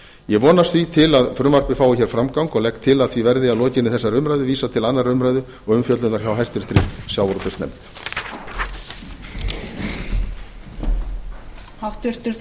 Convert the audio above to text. ég vonast því til að frumvarpið fái hér framgang og legg til að því verði að lokinni þessari umræðu vísað til annarrar umræðu og umfjöllunar hjá háttvirtum sjávatútvegsnefnd